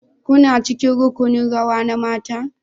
Kuna cikin rukunin rawa na mata?